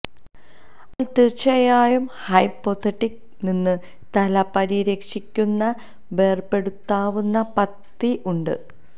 അവൾ തീർച്ചയായും ഹ്യ്പൊഥെര്മിഅ നിന്ന് തല പരിരക്ഷിക്കുന്ന വേര്പെടുത്താവുന്ന പത്തി ഉണ്ട്